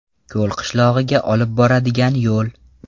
Ko‘l qishlog‘iga olib boradigan yo‘l.